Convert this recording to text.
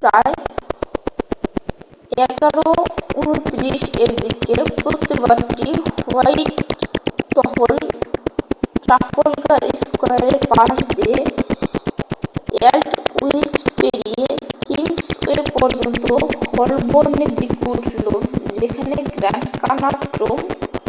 প্রায় 11:29 এর দিকে প্রতিবাদটি হোয়াইটহল ট্রাফলগার স্কয়ারের পাশ দিয়ে অ্যালডউইচ পেরিয়ে কিংসওয়ে পর্যন্ত হলবর্নের দিকে উঠল যেখানে গ্র্যান্ড কানাট রুম